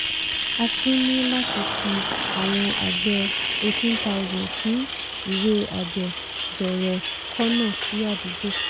a tún ní láti fi àwọn àgbẹ̀ eighteen thousand kún ìwé àgbẹ̀ bẹ̀rẹ̀ kọ̀nà sí àdúgbò.